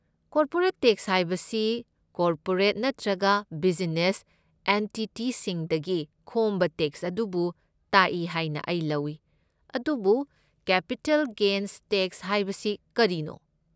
Corporate tax ꯍꯥꯏꯕꯁꯤ corporate ꯅꯠꯇ꯭ꯔꯒ business ꯑꯦꯟꯇꯤꯇꯤꯁꯤꯡꯗꯒꯤ ꯈꯣꯝꯕ ꯇꯦꯛꯁ ꯑꯗꯨꯕꯨ ꯇꯥꯛꯏ ꯍꯥꯏꯅ ꯑꯩ ꯂꯧꯏ, ꯑꯗꯨꯕꯨ ꯀꯦꯄꯤꯇꯦꯜ ꯒꯦꯟꯁ ꯇꯦꯛꯁ ꯍꯥꯏꯕꯁꯤ ꯀꯔꯤꯅꯣ?